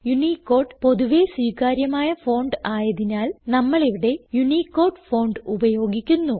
Unicode പൊതുവെ സ്വീകാര്യമായ font ആയതിനാൽ നമ്മളിവിടെ യൂണിക്കോട് ഫോണ്ട് ഉപയോഗിക്കുന്നു